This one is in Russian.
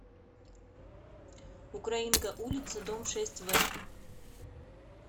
украинка улица дом шесть в